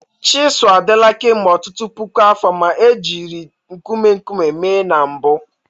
Chisuu adịla kemgbe ọtụtụ puku afọ ma e jiri nkume nkume mee na mbụ.